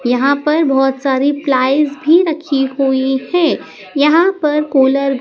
यहां पर बहुत सारी प्लाईज भी रखी हुई हैं यहां पर कूलर --